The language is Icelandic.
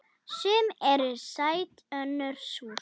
Sum eru sæt önnur súr.